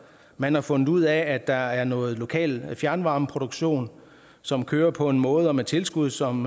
man har fundet ud af at der er noget lokal fjernvarmeproduktion som kører på en måde og med tilskud som